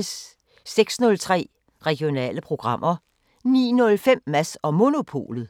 06:03: Regionale programmer 09:05: Mads & Monopolet